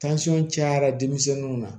cayara denmisɛnninw ma